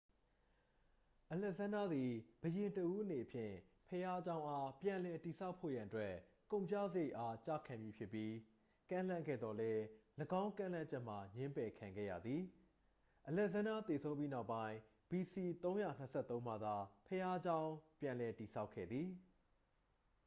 အလက်ဇန်းဒါးသည် ဘုရင်တစ်ဦးအနေဖြင့် ဘုရားကျောင်းအား ပြန်လည်တည်ဆောက်ဖို့ရန်အတွက် ကုန်ကုစရိတ်အား ကျခံမည်ဖြစ်ကြောင်း ကမ်းလှမ်းခဲ့သော်လည်း ၎င်းကမ်းလှမ်းချက်မှာ ငြင်းပယ်ခံခဲ့ရသည် အလက်ဇန်းဒါးသေဆုံးပြီးနောက်ပိုင်း ဘီစီ 323 မှသာ ဘုရားကျောင်းပြန် ပြန်လည်တည်ဆောက်ခဲ့သည်